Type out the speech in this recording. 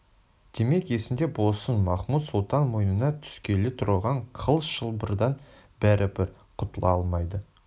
демек есіңде болсын махмуд-сұлтан мойынына түскелі тұрған қыл шылбырдан бәрібір құтыла алмайды